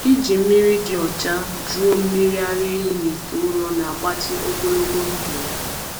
Iji mmiri dị ọcha jụọ mmiri ara ehi n’ite ụrọ na-agbatị ogologo ndụ ya.